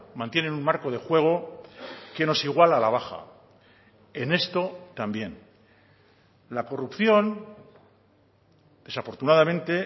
mantienen un marco de juego que nos iguala a la baja en esto también la corrupción desafortunadamente